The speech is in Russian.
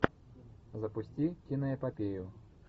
запусти киноэпопею